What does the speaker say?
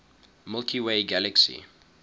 milky way galaxy